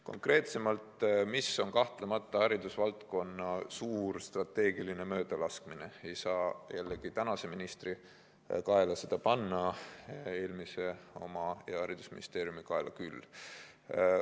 Konkreetsemalt aga ei saa seda kahtlemata suurt haridusvaldkonna strateegilist möödalaskmist tänase ministri kaela ajada, eelmise kaela ja haridusministeeriumi kaela küll.